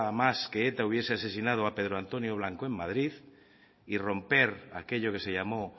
más que eta hubiera asesinado a pedro antonio blanco en madrid y romper aquello que se llamó